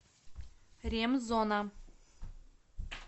ремзона